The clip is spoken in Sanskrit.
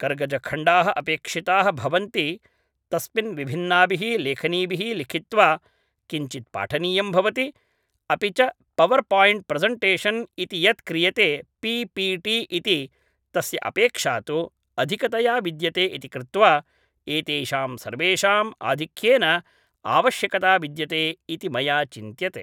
कर्गजखण्डाः अपेक्षिताः भवन्ति तस्मिन् विभिन्नाभिः लेखनीभिः लिखित्वा किञ्चित् पाठनीयं भवति अपि च पवर् पायिण्ट् प्रसण्टेषन् इति यत् क्रियते पि पि टि इति तस्य अपेक्षा तु अधिकतया विद्यते इति कृत्वा एतेषां सर्वेषाम् आधिक्येन आवश्यकता विद्यते इति मया चिन्त्यते